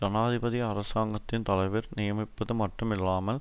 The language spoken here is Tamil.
ஜனாதிபதி அரசாங்கத்தின் தலைவர் நியமிப்பது மட்டுமில்லாமல்